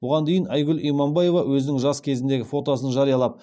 бұған дейін айгүл иманбаева өзінің жас кезіндегі фотосын жариялап